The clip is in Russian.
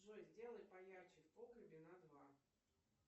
джой сделай поярче в погребе на два